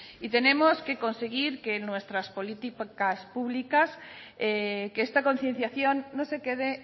y tenemos que conseguir en nuestra políticas públicas que esta concienciación no se quede